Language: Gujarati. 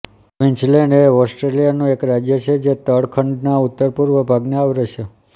ક્વીન્સલેન્ડએ ઑસ્ટ્રેલિયાનું એક રાજ્ય છે જે તળ ખંડના ઉત્તરપૂર્વ ભાગને આવરે છે